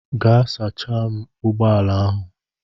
Gaa sachaa m ụgbọ ala ahụ.